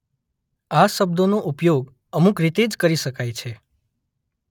આ શબ્દોનો ઉપયોગ અમુક રીતે જ કરી શકાય છે.